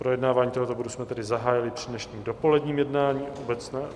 Projednávání tohoto bodu jsme tedy zahájili při dnešním dopoledním jednání.